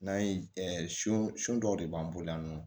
N'an ye sun sun dɔw de b'an bolo yan nɔ